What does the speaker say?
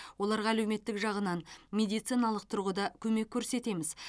оларға әлеуметтік жағынан медициналық тұрғыда көмек көрсетеміз